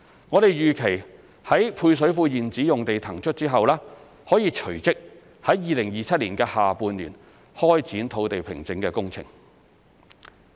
我們預期於配水庫現址用地騰出後，可隨即於2027年下半年開展土地平整工程。